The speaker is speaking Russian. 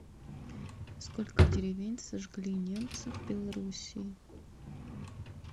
сколько деревень сожгли немцы в белоруссии